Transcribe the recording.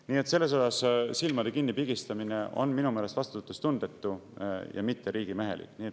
Nii et selles osas silmade kinnipigistamine on minu meelest vastutustundetu ja mitte riigimehelik.